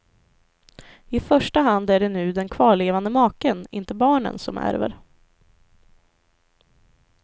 I första hand är det nu den kvarlevande maken, inte barnen, som ärver.